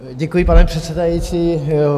Děkuji, pane předsedající.